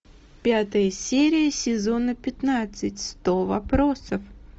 пятая серия сезона пятнадцать сто вопросов